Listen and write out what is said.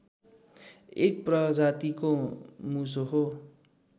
एक प्रजातिको मुसो हो